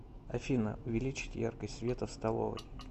афина увеличить яркость света в столовой